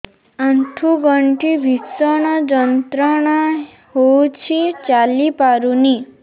ଆଣ୍ଠୁ ଗଣ୍ଠି ଭିଷଣ ଯନ୍ତ୍ରଣା ହଉଛି ଚାଲି ପାରୁନି